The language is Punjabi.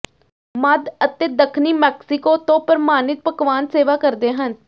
ਮੱਧ ਅਤੇ ਦੱਖਣੀ ਮੈਕਸੀਕੋ ਤੋਂ ਪ੍ਰਮਾਣਿਤ ਪਕਵਾਨ ਸੇਵਾ ਕਰਦੇ ਹਨ